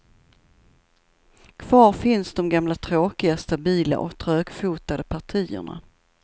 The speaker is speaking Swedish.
Kvar finns de gamla tråkiga, stabila och trögfotade partierna.